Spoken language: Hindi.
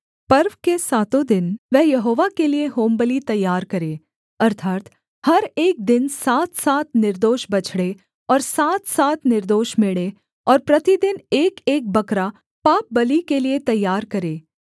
पर्व के सातों दिन वह यहोवा के लिये होमबलि तैयार करे अर्थात् हर एक दिन सातसात निर्दोष बछड़े और सातसात निर्दोष मेढ़े और प्रतिदिन एकएक बकरा पापबलि के लिये तैयार करे